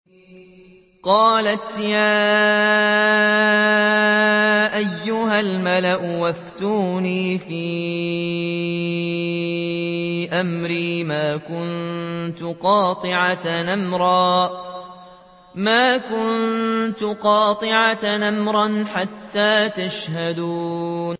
قَالَتْ يَا أَيُّهَا الْمَلَأُ أَفْتُونِي فِي أَمْرِي مَا كُنتُ قَاطِعَةً أَمْرًا حَتَّىٰ تَشْهَدُونِ